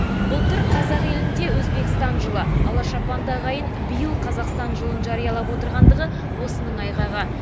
былтыр қазақ елінде өзбекстан жылы ала шапанды ағайын биыл қазақстан жылын жариялап отырғандығы осының айғағы